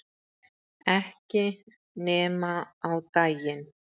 Ekki nema á daginn